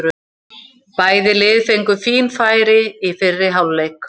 Bæði lið fengu fín færi í fyrri hálfleik.